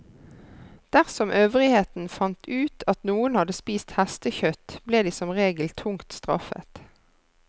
Dersom øvrigheten fant ut at noen hadde spist hestekjøtt, ble de som regel tungt straffet.